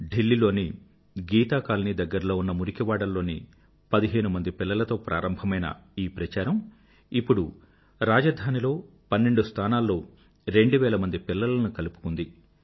ఢిల్లీ లోని గీతా కాలనీ దగ్గర్లో ఉన్న మురికివాడల్లోని పదిహేనుమంది పిల్లలతో ప్రారంభమైన ఈ ప్రచారం ఇప్పుడు రాజధానిలో పన్నెండు స్థానాల్లో రెండువేలమంది పిల్లలను కలుపుకుంది